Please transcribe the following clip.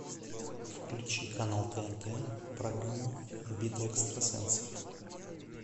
включи канал тнт программу битва экстрасенсов